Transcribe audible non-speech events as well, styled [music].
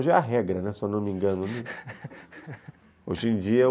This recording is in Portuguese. Hoje é a regra, né, [laughs] se eu não me engano, hoje em dia